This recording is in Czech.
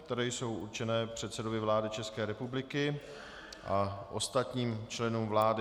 které jsou určené předsedovi vlády České republiky a ostatním členům vlády.